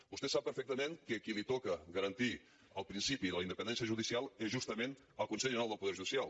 vostè sap perfectament que a qui li toca garantir el principi de la independència judicial és justament al consell general del poder judicial